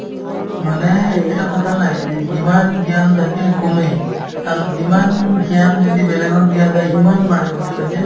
মানেই এটা কথা নাই যে যিমান জ্ঞান থাকে আৰু যিমান জ্ঞান যদি বেলেগক দিয়া যায় সিমান বাঢ়ে বুলি কই যে